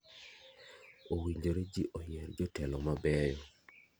owinjore ji oyier jotelo mabeyo.